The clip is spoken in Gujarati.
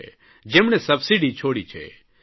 જેમણે સબસીડી છોડી છે